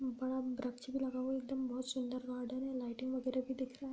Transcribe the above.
बड़ा वृक्ष भी लगा हुआ है एकदम बहुत सुंदर है लाइटिंग वगैरा भी दिख रहा है।